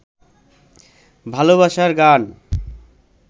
ভালবাসার গান